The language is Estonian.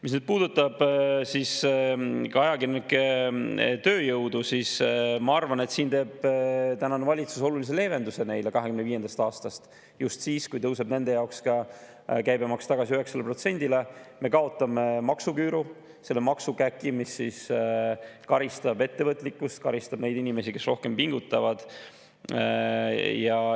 Mis puudutab ajakirjanike tööjõudu, siis ma arvan, et tänane valitsus teeb olulise leevenduse neile 2025. aastast – just siis, kui tõuseb nende jaoks ka käibemaks tagasi 9%‑le, kaotame maksuküüru, selle maksukäki, mis karistab ettevõtlikkust, karistab neid inimesi, kes rohkem pingutavad.